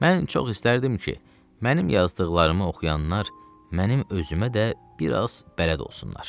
Mən çox istərdim ki, mənim yazdıqlarımı oxuyanlar, mənim özümə də biraz bələd olsunlar.